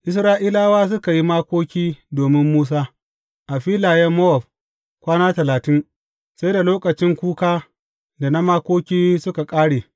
Isra’ilawa suka yi makoki domin Musa a filayen Mowab kwana talatin, sai da lokacin kuka, da na makoki suka ƙare.